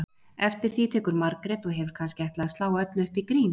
Eftir því tekur Margrét og hefur kannski ætlað að slá öllu upp í grín